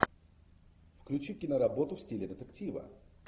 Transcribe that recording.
включи киноработу в стиле детектива